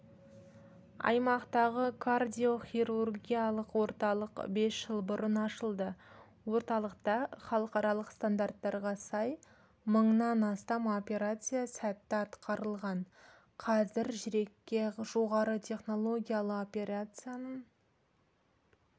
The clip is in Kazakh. аймақтағы кардиохирургиялық орталық бес жыл бұрын ашылды орталықта халықаралық стандарттарға сай мыңнан астам операция сәтті атқарылған қазір жүрекке жоғары технологиялы операцияның